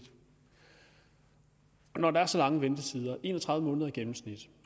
når der er så lange ventetider en og tredive måneder i gennemsnit